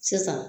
Sisan